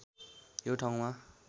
यो ठाउँमा